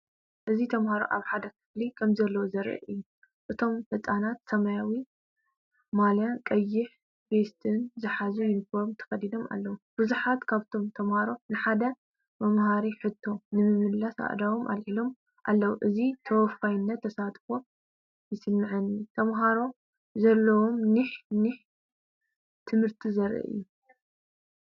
እዚ ተማሃሮ ኣብ ሓደ ክፍሊ ከምዘለዉ ዘርኢ እዩ። እቶም ህጻናት ሰማያዊ ማልያን ቀይሕ ቬስትን ዝሓዘ ዩኒፎርም ተኸዲኖም ኣለዉ። ብዙሓት ካብቶም ተማሃሮ ንሓደ መምሃሪ ሕቶ ንምምላስ ኣእዳዎም ኣልዒሎም ኣለው። እቲ ተወፋይነትን ተሳትፎን ይስምዓኒ። ተምሃሮ ዘለዎም ኒሕን ኒሕን ትምህርቲ ዘርኢ እዩ።